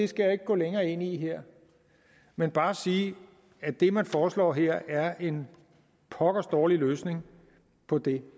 skal jeg ikke gå længere ind i det her men bare sige at det man foreslår her er en pokkers dårlig løsning på det